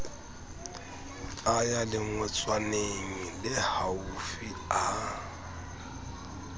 a ya lengotswaneng lehaufi a